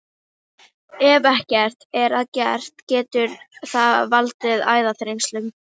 Ef ekkert er að gert getur það valdið æðaþrengslum.